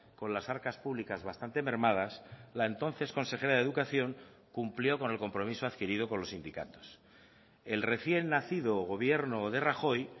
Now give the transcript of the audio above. con las arcas públicas bastante mermadas la entonces consejera de educación cumplió con el compromiso adquirido con los sindicatos el recién nacido gobierno de rajoy